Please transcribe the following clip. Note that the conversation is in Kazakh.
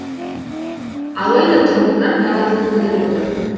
алайда тұрғындар наразылық білдіріп отыр